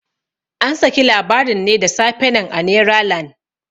An saki labarin ne da safe nan a neralan.